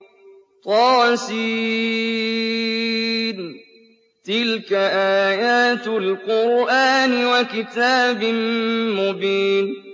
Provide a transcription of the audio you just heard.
طس ۚ تِلْكَ آيَاتُ الْقُرْآنِ وَكِتَابٍ مُّبِينٍ